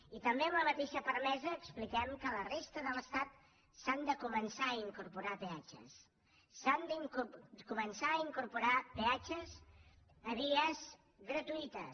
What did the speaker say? i també amb la mateixa fermesa expliquem que a la resta de l’estat s’han de començar a incorporar peatges s’han de començar a incorporar peatges a vies gratuïtes